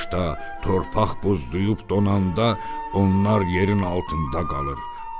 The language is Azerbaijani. Qışda torpaq buzduyub donanda onlar yerin altında qalır.